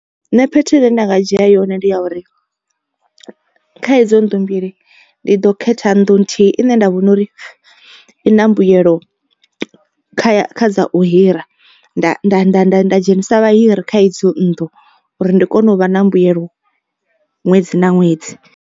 Nṋe fhethu ine nda nga dzhia yone ndi ya uri kha idzo nnḓu mbili ndi ḓo khetha nnḓu nthihi ine nda vhona uri i na mbuyelo kha dza u hira. Nda nda nda nda nda dzhenisa vha hiri kha idzo nnḓu uri ndi kone u vha na mbuyelo ṅwedzi na ṅwedzi.